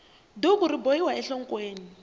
duku ri bohiwa enhlokweni